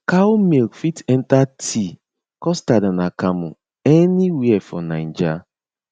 cow milk fit enter tea custard and akamu anywhere for naija